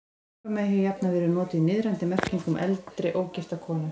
Piparmey hefur jafnan verið notað í niðrandi merkingu um eldri, ógifta konu.